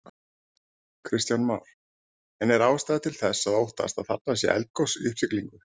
Kristján Már: En er ástæða til að óttast að þarna sé eldgos í uppsiglingu?